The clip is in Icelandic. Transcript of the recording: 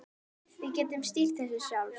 Við getum stýrt þessu sjálf.